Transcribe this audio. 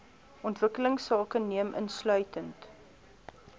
ontwikkelingsake neem insluitend